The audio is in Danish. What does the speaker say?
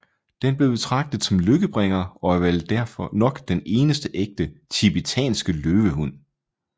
Den blev betragtet som lykkebringer og er vel nok den eneste ægte TIBETANSKE LØVEHUND